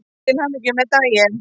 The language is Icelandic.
Til hamingju með daginn.